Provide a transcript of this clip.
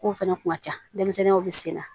K'o fɛnɛ kun ka ca denmisɛnninw bi senna